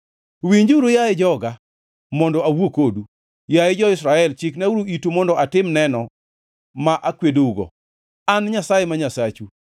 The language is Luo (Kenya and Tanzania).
“Winjuru, yaye joga, mondo awuo kodu, yaye jo-Israel, chiknauru itu mondo atim neno ma akwedougo: An Nyasaye ma Nyasachu.